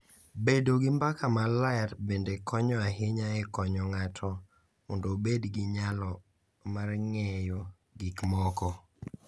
Bedo gi mbaka maler bende konyo ahinya e konyo ng’ato mondo obed gi nyalo mar ng’eyo gik moko.